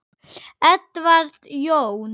Edward Jón.